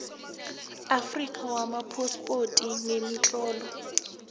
afrika wamaphaspoti nemitlolo